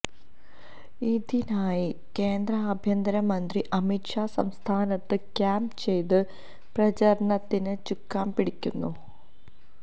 ഇതിനായി കേന്ദ്ര ആഭ്യന്തരമന്ത്രി അമിത് ഷാ സംസ്ഥാനത്ത് ക്യാമ്പ് ചെയ്ത് പ്രചാരണത്തിന് ചുക്കാന് പിടിക്കുന്നു